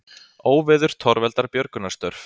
Óveður torveldar björgunarstörf